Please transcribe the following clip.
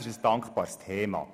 es ist ein dankbares Thema.